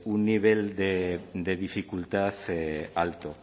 un nivel de dificultad alto